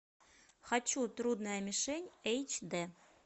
хочу трудная мишень эйч дэ